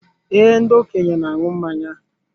Ee, ndị okenye na aṅụ mmanya